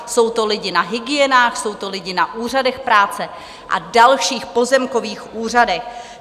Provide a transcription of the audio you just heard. Jsou to lidi na hygienách, jsou to lidi na úřadech práce a dalších - pozemkových úřadech.